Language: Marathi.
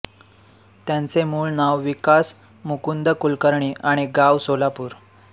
त्यांचे मूळ नाव विकास मुकुंद कुलकर्णी आणि गाव सोलापूर